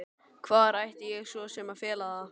Hvar ætti ég svo sem að fela það?